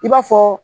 I b'a fɔ